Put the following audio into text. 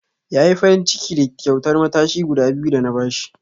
Ya yi farinciki da kyautar matashi guda biyu da na ba shi.